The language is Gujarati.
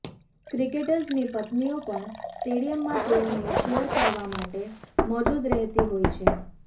ક્રિકેટર્સની પત્નીઓ પણ સ્ટેડીયમમાં તેઓને ચીયર કરવા માટે મોજુદ રહેતી હોય છે